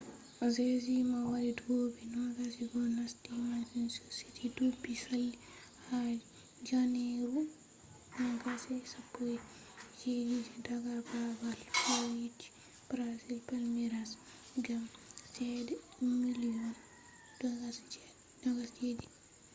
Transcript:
jesus mo mari duubi 21 nasti manchester city duubi sali ha janeru 2017 daga babal fijirde brazil palmeiras gam chede miliyon £27